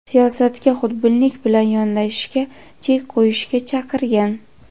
siyosatga xudbinlik bilan yondashishga chek qo‘yishga chaqirgan.